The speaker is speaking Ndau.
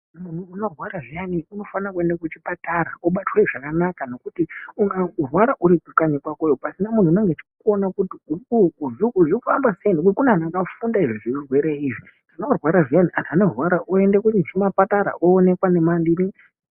Munhu unorwara zviyana unofanira kuenda kuchipatara obatwe zvakanaka nekuti ukarwara uri kanyi kwakoyo pasina munhu unenge uchikuona kuti zvofamba sei nekuti kune anhu akufunda izvi zveurwerw izvi kana warwara zviyani anhu anorwara oenda kuchipatara oonekwa nema chinyi.